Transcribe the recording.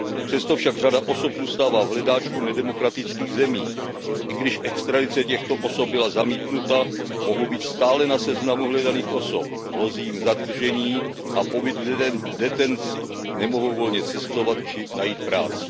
Přesto však řada osob zůstává v hledáčku nedemokratických zemí. I když extradice těchto osob byla zamítnuta, mohou být stále na seznamu hledaných osob, hrozí jim zadržení a pobyt v detenci, nemohou volně cestovat či najít práci.